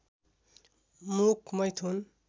मुख मैथुन